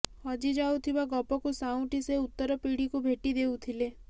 ହଜି ଯାଉଥିବା ଗପକୁ ସାଉଁଟି ସେ ଉତ୍ତରପିଢ଼ିକୁ ଭେଟି ଦେଉଥିଲେ